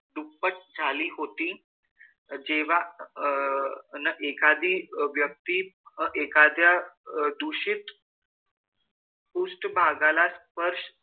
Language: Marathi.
दुप्पट झाली होती. जेव्हा अह अन एखादी व्यक्ती व एखाद्या दूषित पृष्ठभागाला स्पर्श,